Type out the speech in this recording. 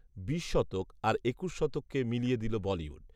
বিশ শতক, আর একুশ শতককে মিলিয়ে দিল বলিউড